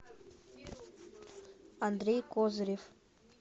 андрей козырев